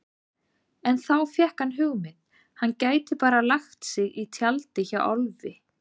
En þá fékk hann hugmynd: Hann gæti bara lagt sig í tjaldið hjá Álfi.